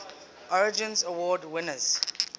origins award winners